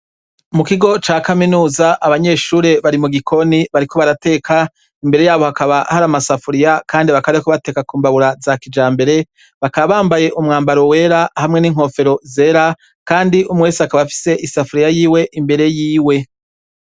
Mu kigo ca kaminuza abanyeshure bari mu gikoni bariko barateka imbere yabo hakaba hari amasafuriya, kandi bakareku bateka ku mbabura za kija mbere bakaabambaye umwambaro wera hamwe n'inkofero zera, kandi umwese akaba afise isafuriya yiwe imbere yiwe.